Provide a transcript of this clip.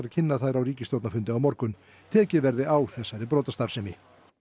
kynna þær á ríkisstjórnarfundi á morgun tekið verði á þessari brotastarfsemi